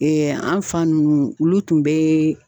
an fa ninnu olu tun bɛ.